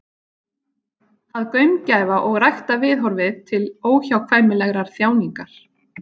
Að gaumgæfa og rækta viðhorfið til óhjákvæmilegrar þjáningar.